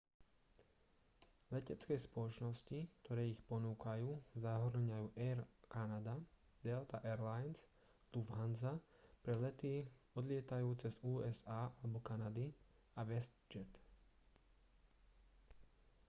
letecké spoločnosti ktoré ich ponúkajú zahŕňajú air canada delta air lines lufthansa pre lety odlietajúce z usa alebo kanady a westjet